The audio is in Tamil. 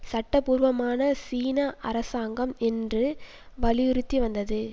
சட்ட பூர்வமான சீன அரசாங்கம் என்று வலியுறுத்தி வந்தது